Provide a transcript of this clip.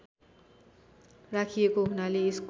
राखिएको हुनाले यसको